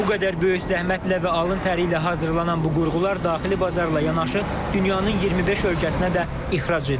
Bu qədər böyük zəhmətlə və alın təri ilə hazırlanan bu qurğular daxili bazarla yanaşı, dünyanın 25 ölkəsinə də ixrac edilir.